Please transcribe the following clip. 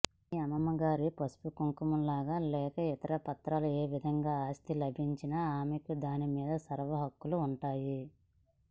మీ అమ్మమ్మగారి పసుపుకుంకమలుగా లేక ఇతరత్రా ఏ విధంగా ఆస్థి లభించినా ఆమెకు దానిమీద సర్వహక్కులూ ఉంటాయి